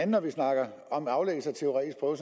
når vi snakker om aflæggelse af teoretisk prøve